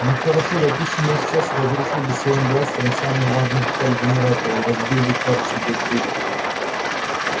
ну хорошо допустим я сейчас разрушил бы своим бластером самую важную деталь генератора или разбил бы кварцевую д-трубку